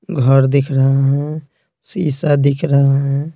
घर दिख रहा है शीशा दिख रहे है।